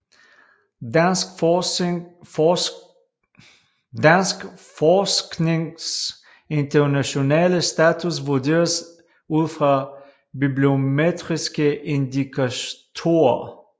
Dansk forsknings internationale status vurderes ud fra bibliometriske indikatorer